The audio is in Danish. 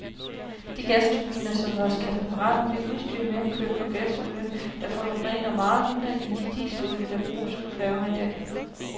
De gasturbiner, som vores katamaraner bliver udstyrede med, kører på gasolie, der forurener meget mindre end de dieselolier, der bruges på færgerne i dag.